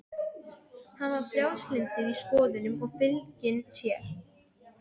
Hann var frjálslyndur í skoðunum og fylginn sér.